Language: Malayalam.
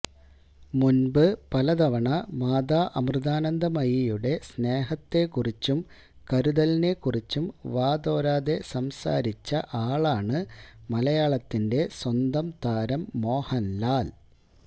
മുൻപ് പല തവണ മാതാ അമൃതാനന്ദമയിയുടെ സ്നേഹത്തെക്കുറിച്ചും കരുതലിനെക്കുറിച്ചും വാതോരാതെ സംസാരിച്ച ആളാണ് മലയാളത്തിന്റെ സ്വന്തം താരം മോഹൻലാൽ